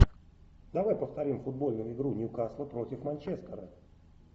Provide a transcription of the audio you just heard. давай повторим футбольную игру ньюкасла против манчестера